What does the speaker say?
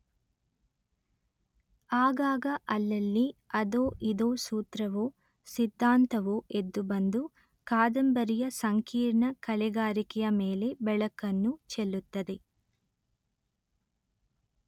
ಆಗಾಗ ಅಲ್ಲಲ್ಲಿ ಅದೊ ಇದೊ ಸೂತ್ರವೊ ಸಿದ್ಧಾಂತವೊ ಎದ್ದುಬಂದು ಕಾದಂಬರಿಯ ಸಂಕೀರ್ಣ ಕಲೆಗಾರಿಕೆಯ ಮೇಲೆ ಬೆಳಕನ್ನು ಚೆಲ್ಲುತ್ತದೆ